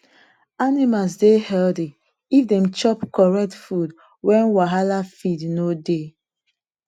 animals dey stay healthy if dem chop correct food when wahala feed no dey